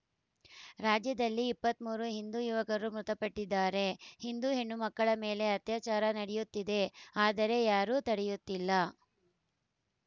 ರಾಜ್ಯದಲ್ಲಿ ಇಪ್ಪತ್ತ್ ಮೂರು ಹಿಂದೂ ಯುವಕರು ಮೃತಪಟ್ಟಿದ್ದಾರೆ ಹಿಂದೂ ಹೆಣ್ಣುಮಕ್ಕಳ ಮೇಲೆ ಅತ್ಯಾಚಾರ ನಡೆಯುತ್ತಿದೆ ಆದರೆ ಯಾರೂ ತಡೆಯುತ್ತಿಲ್ಲ